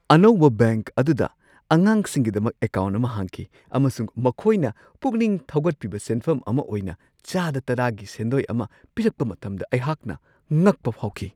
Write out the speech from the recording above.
ꯑꯅꯧꯕ ꯕꯦꯡꯛ ꯑꯗꯨꯗ ꯑꯉꯥꯡꯁꯤꯡꯒꯤꯗꯃꯛ ꯑꯦꯀꯥꯎꯟꯠ ꯑꯃ ꯍꯥꯡꯈꯤ ꯑꯃꯁꯨꯡ ꯃꯈꯣꯏꯅ ꯄꯨꯛꯅꯤꯡ ꯊꯧꯒꯠꯄꯤꯕ ꯁꯦꯟꯐꯝ ꯑꯃ ꯑꯣꯏꯅ ꯆꯥꯗ ꯱꯰ꯒꯤ ꯁꯦꯟꯗꯣꯏ ꯑꯃ ꯄꯤꯔꯛꯄ ꯃꯇꯝꯗ ꯑꯩꯍꯥꯛꯅ ꯉꯛꯄ ꯐꯥꯎꯈꯤ ꯫